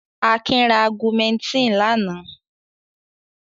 Akin ra Augumentin lánàá.